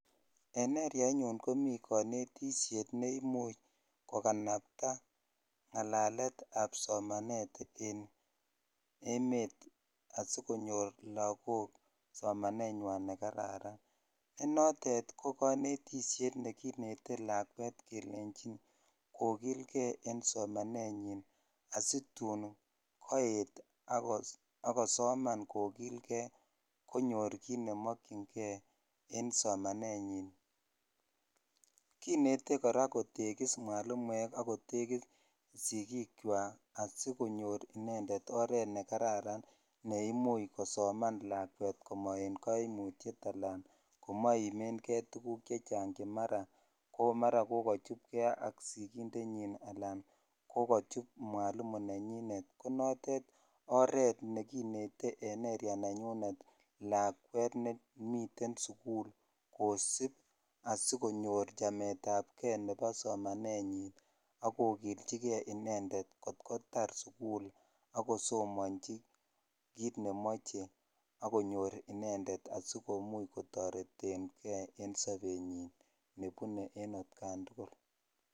en eryaait nyuunkomii konetisyeet neimuuch koganapta ngalalet ab somaneet en emeet asigonyoor lagook somaneetnywaan negararan, ne noteet koganetisyeet neginete lakweet kelenchin kogilgee en somaneet nyiin asituun koeet ak kosoman kogilgee ak konyoor kiit nemokyingee en somaneet nyiin, kinete koraa kotegiss mwalimuek ak kotegiss sigiik kywaak asigonyoor inendeet oreet negararan neimuuch kosoman lakweet komoen kaimutyeet anan komoimengee tuguuk chechang che maraa ko maaran kogachupgee ak sigindeet nyiin alaan kogachuub mwalimu nenyineet ko noteet oreet neginetengee en eeria nenyuneet lakweet nemiten sugul kosiib asigonyoor chameet ab gee nebo somanenyiin kogilchigee inendet kot kotaar sugul ak kosomonchi kiit nemoche ak konyoor inendet asigotoretengee en sobenyiin nebune en atkaan tugul.